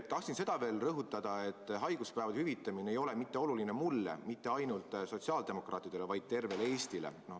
Tahtsin seda veel rõhutada, et haiguspäevade hüvitamine ei ole mitte oluline mulle, mitte ainult sotsiaaldemokraatidele, vaid tervele Eestile.